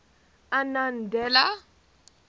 annandale